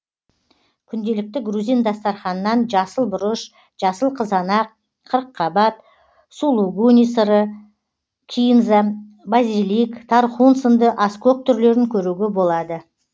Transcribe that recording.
күнделікті грузин дастарханынан жасыл бұрыш жасыл қызанақ қырыққаббат сулугуни сыры кинза базилик тархун сынды аскөк түрлерін көруге болады